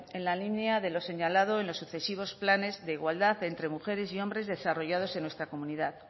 en la línea de lo señalado en los sucesivos planes de igualdad entre mujeres y hombres desarrollados en nuestra comunidad